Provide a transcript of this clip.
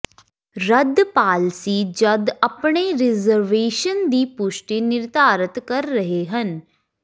ਰੱਦ ਪਾਲਸੀ ਜਦ ਆਪਣੇ ਰਿਜ਼ਰਵੇਸ਼ਨ ਦੀ ਪੁਸ਼ਟੀ ਨਿਰਧਾਰਤ ਕਰ ਰਹੇ ਹਨ